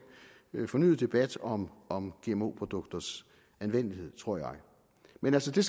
fornyet debat om om gmo produkters anvendelighed tror jeg men altså